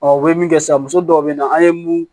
u bɛ min kɛ sisan muso dɔw bɛ na an ye mun